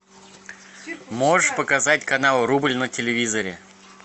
можешь показать канал рубль на телевизоре